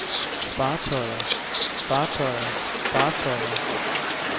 fartøjer fartøjer fartøjer